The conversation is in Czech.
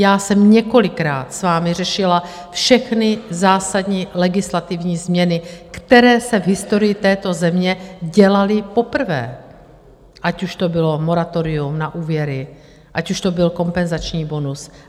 Já jsem několikrát s vámi řešila všechny zásadní legislativní změny, které se v historii této země dělaly poprvé, ať už to bylo moratorium na úvěry, ať už to byl kompenzační bonus.